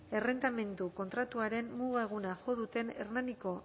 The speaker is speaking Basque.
errentamendu kontratuaren muga eguna jo duten hernaniko